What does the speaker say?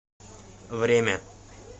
время